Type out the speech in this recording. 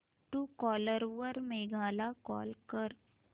Truecaller वर मेघा ला call कर